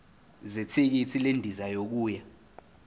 zethikithi lendiza yokuya